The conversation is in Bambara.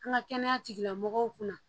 An ka kɛnɛya tigilamɔgɔw kun na